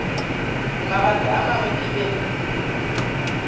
mabaka a mangwe ke be